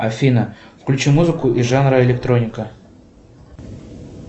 афина включи музыку из жанра электроника